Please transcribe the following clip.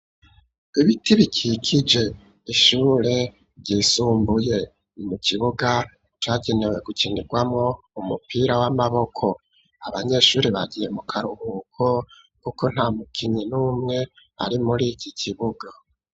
Ibiti bikikije ishure ryisumbuye mu kibuga cagenewe gukinirwamo umupira w'amaboko abanyeshure bagiye mu karuhuko kuko nta mukinyi n'umwe ari muri iki kibuga.